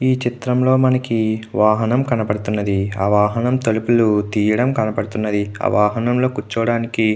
ఈ చిత్రంలో మనకి వాహనం కనబడుతుంది. ఆ వాహనం తలుపులు తీయడం కనబడుతుంది. ఆ వాహనంలో కూర్చోవడానికి --